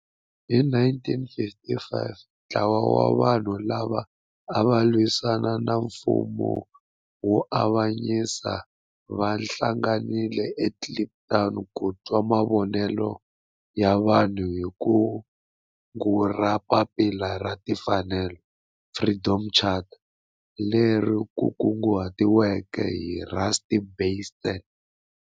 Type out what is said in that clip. Hi 1955 ntlawa wa vanhu lava ava lwisana na nfumo wa avanyiso va hlanganile eKliptown ku twa mavonelo ya vanhu hi kungu ra Papila ra Tinfanelo, Freedom Charter leri kunguhatiweke hi Rusty Bernstein.